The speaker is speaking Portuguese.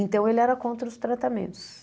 Então, ele era contra os tratamentos.